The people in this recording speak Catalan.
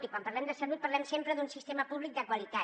i quan parlem de salut parlem sempre d’un sistema públic de qualitat